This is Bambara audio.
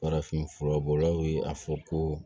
Farafin furabɔlaw ye a fɔ ko